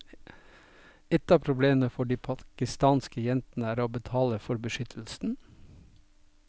Ett av problemene for de pakistanske jentene er å betale for beskyttelsen.